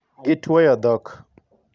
Gituoyo dhok.